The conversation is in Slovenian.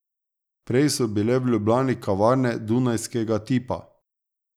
Prej so bile v Ljubljani kavarne dunajskega tipa.